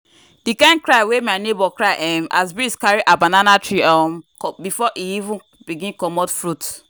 the kin cry wey my neighbour cry[um]as breeze carry her banana tree um before e begin comot fruit.